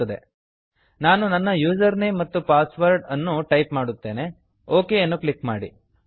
ನಾನು ನನ್ನ ಯೂಸರ್ನೇಮ್ ಮತ್ತು ಪಾಸ್ವರ್ಡ್ ಯೂಸರ್ ನೇಮ್ ಮತ್ತು ಪಾಸ್ ವರ್ಡ್ಅನ್ನು ಟೈಪ್ ಮಾಡುತ್ತೇನೆ ಒಕ್ ಅನ್ನು ಕ್ಲಿಕ್ ಮಾಡಿ